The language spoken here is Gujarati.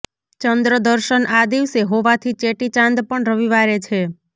ચંદ્રદર્શન આ દિવસે હોવાથી ચેટી ચાંદ પણ રવિવારે છે